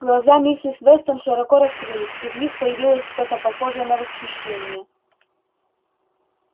глаза миссис вестон широко раскрылись и в них появилось что-то похожее на восхищение